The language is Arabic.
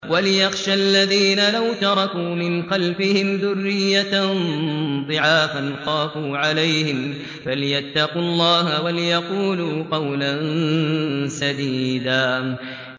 وَلْيَخْشَ الَّذِينَ لَوْ تَرَكُوا مِنْ خَلْفِهِمْ ذُرِّيَّةً ضِعَافًا خَافُوا عَلَيْهِمْ فَلْيَتَّقُوا اللَّهَ وَلْيَقُولُوا قَوْلًا سَدِيدًا